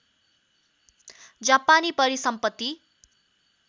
जापानी परिसम्पत्ति